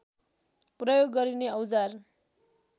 प्रयोग गरिने औजार